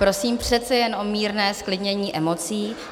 Prosím přece jen o mírné zklidnění emocí.